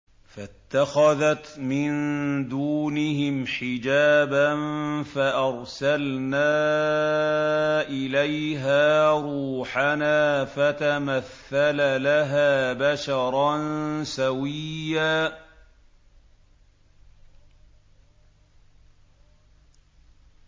فَاتَّخَذَتْ مِن دُونِهِمْ حِجَابًا فَأَرْسَلْنَا إِلَيْهَا رُوحَنَا فَتَمَثَّلَ لَهَا بَشَرًا سَوِيًّا